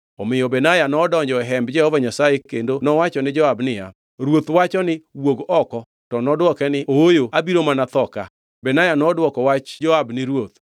Omiyo Benaya nodonjo e Hemb Jehova Nyasaye kendo nowacho ni Joab niya, “Ruoth wacho ni, ‘Wuog oko!’ ” To nodwoke niya, “Ooyo, abiro mana tho ka.” Benaya nodwoko wach Joab ni ruoth.